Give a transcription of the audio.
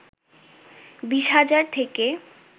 ২০ হাজার থেকে